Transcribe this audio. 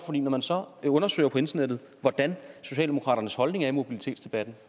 for når man så undersøger på internettet hvordan socialdemokratiets holdning er i mobilitetsdebatten